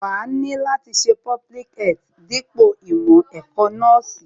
Wàá ni láti ṣe public health dípò ìmọ̀ ẹ̀kọ́ nọ́ọ̀sì